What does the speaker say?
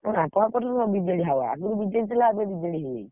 ବାପାଠାରୁ BJD ହେବ। ଆଗୁରୁ BJP ଥିଲା ଏବେ BJD ହେଇଯାଇଛି।